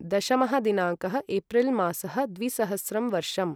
दशमः दिनाङ्कः एप्रिल् मासः द्विसहस्रं वर्षम्